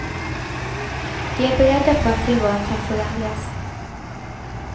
De är beredda på att tillvaron kan förändras.